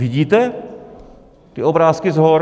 Vidíte ty obrázky z hor?